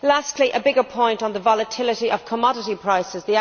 Lastly, a bigger point on the volatility of commodity prices.